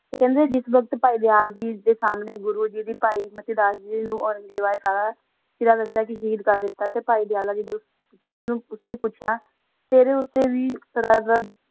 ਤਾ ਖਾਨਾ ਜਿਸ ਵਾਕ਼ਾਤਾ ਓਨਾ ਨਾ ਆਪਣਾ ਸੰਮਨਾ ਗੁਰੋ ਜੀ ਦੀ ਸਾਰਾ ਦਾਸਾ ਤਾ ਪਾਹਿ ਜੀ ਦੀ ਆਲਮ ਉਸ ਨਾ ਪੋਚਿਆ ਤਾ ਤਾਰਾ ਓਟਾ ਵੀ ਆਸ ਤਾ ਸੀ